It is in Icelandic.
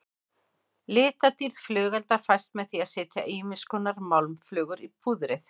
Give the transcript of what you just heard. Litadýrð flugelda fæst með því að setja ýmiskonar málmflögur í púðrið.